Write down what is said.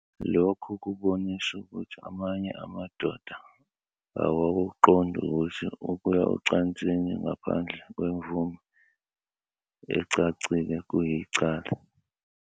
Lokhu kubonisa ukuthi amanye amadoda awakuqondi ukuthi ukuya ocansini ngaphandle kwemvume ecacile kuyicala.